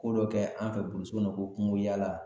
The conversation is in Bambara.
Ko dɔ kɛ an fɛ kɔnɔ ko kungoyala